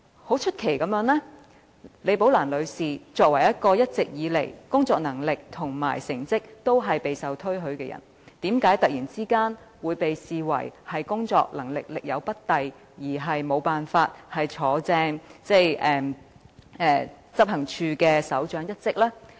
很出奇地，李寶蘭女士作為工作能力和成績一直都備受推許的人員，為何突然會被視為工作能力力有不逮而無法正式晉升為執行處首長呢？